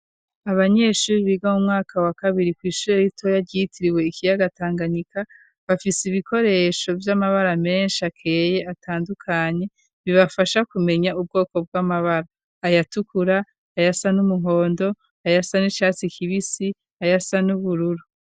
Abanyeshuri biga mu mwaka wa kabiri kw'ishuri aritoya ryitiriwe ikiyaga Tanganyika bafise ibikoresho vy'amabara menshi akeye atandukanye bibafasha kumenya ubwoko bw'amabara: ayatukura, ayasa n'umuhondo, ayasa n'icatsi kibisi, ayasa n'ubururu.